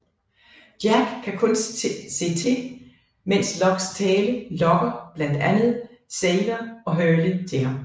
Jack kan kun se til mens Lockes tale lokker blandt andet Sawyer og Hurley til ham